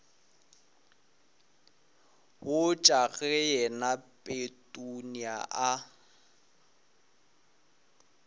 botša ge yena petunia a